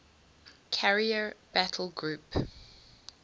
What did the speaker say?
carrier battle group